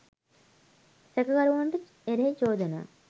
සැකකරුවන්ට එරෙහි චෝදනා